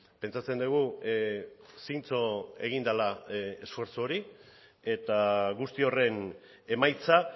pentsatzen dugu zintzo egin dela esfortzu hori eta guzti horren emaitza